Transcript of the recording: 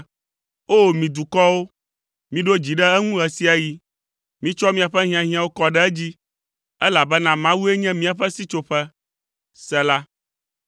O! Mi dukɔwo, miɖo dzi ɖe eŋu ɣe sia ɣi; mitsɔ miaƒe hiahiãwo kɔ ɖe edzi, elabena Mawue nye míaƒe sitsoƒe. Sela